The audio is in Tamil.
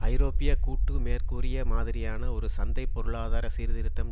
ஐரோப்பிய கூட்டு மேற்கூறிய மாதிரியான ஒரு சந்தை பொருளாதார சீர்திருத்தம்